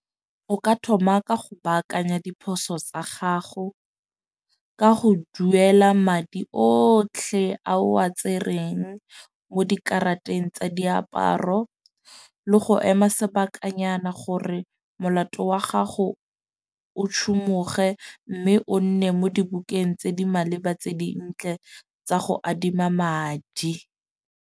O ka thoma ka go baakanya diphoso sa gago. Ka go duela madi otlhe a o a tsereng mo dikarateng tsa diaparo le go ema sebakanyana gore molato wa gago o tshumuge . Mme o nne mo dibukeng tse di maleba tse dintle tsa go adima madi.